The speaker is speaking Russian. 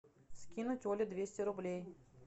скинуть оле двести рублей